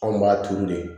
Anw b'a turu de